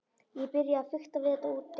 Ég byrjaði að fikta við þetta úti.